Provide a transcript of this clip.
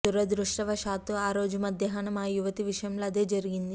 దురదృష్టవశాత్తూ ఆ రోజు మధ్యాహ్నం ఆ యువతి విషయంలో అదే జరిగింది